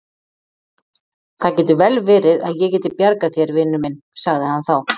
Það getur vel verið að ég geti bjargað þér, vinur minn sagði hann þá.